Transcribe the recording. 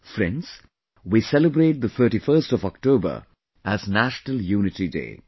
Friends, we celebrate the 31st of October as National Unity Day